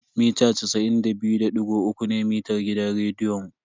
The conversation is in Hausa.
Mita casa'in da biyu da digo uku ne mitar gidan rediyon.